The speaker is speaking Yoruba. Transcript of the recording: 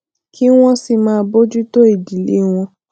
kí wón sì máa bójú tó ìdílé wọn